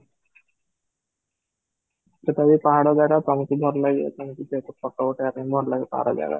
ସେଇଟା ବି ପାହାଡ ଜାଗା ତମକୁ ଭଲ ଲାଗେ, ତମକୁ ଯେହେତୁ photo ଉଠେଇବାକୁ ଭଲ ଲାଗେ ପାହାଡ ଜାଗା